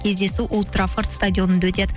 кездесу олд траффорд стадионында өтеді